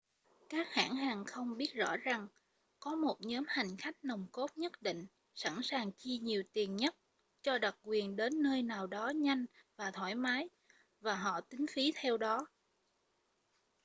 các hãng hàng không biết rõ rằng có một nhóm hành khách nòng cốt nhất định sẵn sàng chi nhiều tiền nhất cho đặc quyền đến nơi nào đó nhanh và thoải mái và họ tính phí theo đó